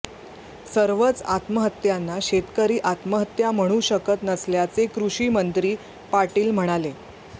सर्वच आत्महत्यांना शेतकरी आत्महत्या म्हणू शकत नसल्याचे कृषी मंत्री पाटील म्हणाले